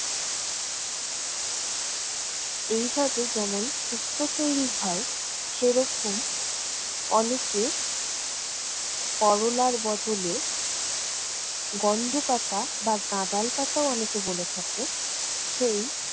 এইভাবে যেমন শুক্তো তৈরি হয়, সেরকম অনেকে করলার বদলে গন্ধ পাতা বা গাঁদাল পাতাও অনেকে বলে থাকে সেই